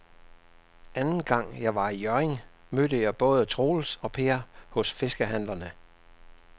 Anden gang jeg var i Hjørring, mødte jeg både Troels og Per hos fiskehandlerne.